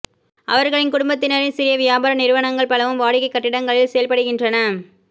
அவர்களின் குடும்பத்தினரின் சிறிய வியாபார நிறுவனங்கள் பலவும் வாடகைக் கட்டிடங்களில் செயல்படுகின்றன